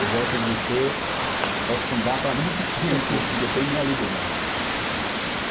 Eu gosto de ser Otumbá para muito tempo, porque eu tenho minha liberdade.